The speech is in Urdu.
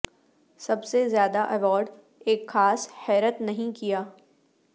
سب سے زیادہ ایوارڈ ایک خاص حیرت نہیں کیا